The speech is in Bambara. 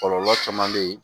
Kɔlɔlɔ caman bɛ yen